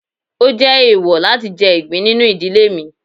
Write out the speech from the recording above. o jé eèwò latí jẹ igbín ninú ìdílé mí.